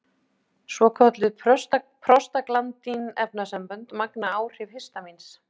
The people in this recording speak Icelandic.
Svokölluð prostaglandín-efnasambönd magna áhrif histamíns.